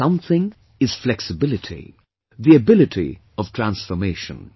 That 'Something' is flexibility, the ability of transformation